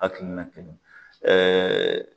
Hakilina kelen